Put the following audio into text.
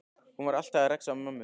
Hún var alltaf að rexa í mömmu.